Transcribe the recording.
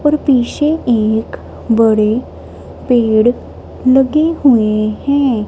और पीछे एक बड़े पेड़ लगे हुए हैं।